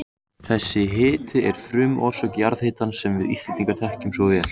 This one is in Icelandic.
Þessi hiti er þannig frumorsök jarðhitans sem við Íslendingar þekkjum svo vel.